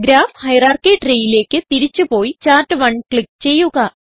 graph hierarchy treeയിലേക്ക് തിരിച്ച് പോയി ചാർട്ട്1 ക്ലിക്ക് ചെയ്യുക